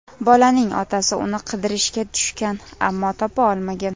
Bolaning otasi uni qidirishga tushgan, ammo topa olmagan.